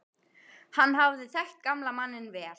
Hann hafði þekkt gamla manninn vel.